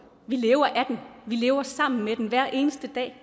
vi lever af den vi lever sammen med den hver eneste dag